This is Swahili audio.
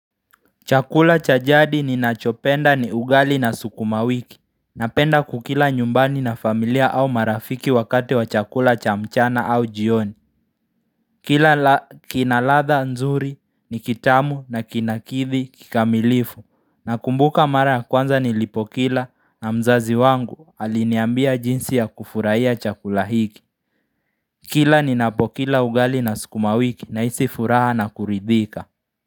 Chakula cha jadi ninachopenda ni ugali na sukumawiki Napenda kukila nyumbani na familia au marafiki wakati wa chakula cha mchana au jioni Kila kinaladha nzuri ni kitamu na kinakithi kikamilifu Nakumbuka mara ya kwanza nilipokila na mzazi wangu aliniambia jinsi ya kufuraiya chakulahiki Kila ninapokila ugali na sukumawiki naisi furaha na kuridhika.